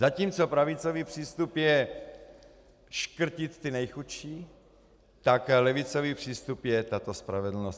Zatímco pravicový přístup je škrtit ty nejchudší, tak levicový přístup je tato spravedlnost.